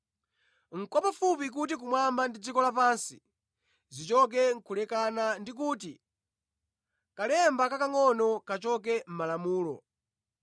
Nʼkwapafupi kuti kumwamba ndi dziko lapansi zichoke kulekana ndi kuti kalemba kakangʼono kachoke mʼMalamulo.